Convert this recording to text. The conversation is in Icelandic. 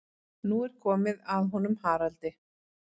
Nú er komið að honum Haraldi.